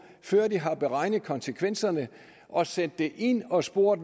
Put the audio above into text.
før de har beregnet konsekvenserne og sendt det ind og spurgt